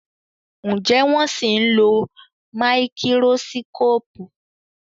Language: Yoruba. Njé wón sìn ló Máíkírósíkópù?